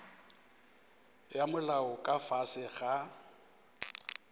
ya molao ka fase ga